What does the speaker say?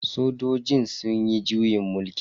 Sojojin sunyi juyin mulki.